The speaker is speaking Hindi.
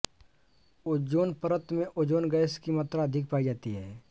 ओज़ोन परत में ओज़ोन गैस की मात्रा अधिक पाई जाती है